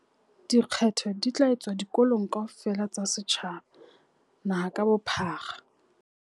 Dikgetho di tla etswa dikolong kaofela tsa setjhaba naha ka bophara.